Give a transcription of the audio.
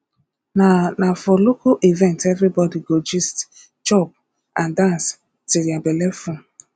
na na for local events everybody go gist chop and dance until their belle full